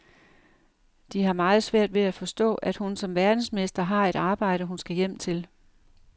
De har meget svært ved at forstå, at hun som verdensmester har et arbejde, hun skal hjem til.